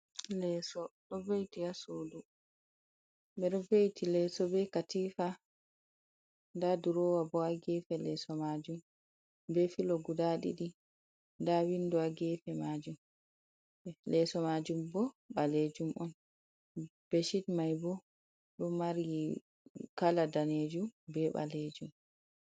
Lesoo, ɗo ve'itti ha suuduu, ɓedoo ve'itti lesoo be katifa, nda durowa bo ha gefe lesoo maajuum, be filoo guda ɗiɗi nda windo ha gefe lesoo maajuum, bo balejum on, beshit mai bo ɗo mari kala daneejuum be ɓaleejum.